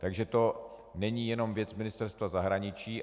Takže to není jenom věc Ministerstva zahraničí.